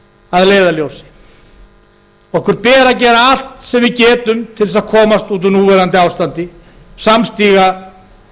að leiðarljósi okkur ber að gera allt sem við getum til þess að komast út úr núverandi ástandi samstiga